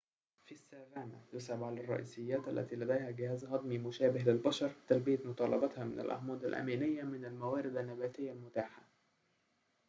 في السافانا يصعب على الرئيسيات التي لديها جهاز هضمي مشابه للبشر تلبية متطلباتها من الأحماض الأمينية من الموارد النباتية المتاحة